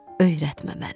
Öyrətmə məni.